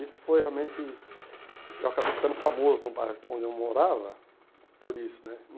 Isso foi realmente... Eu acabei ficando famoso no bairro onde eu morava por isso, né?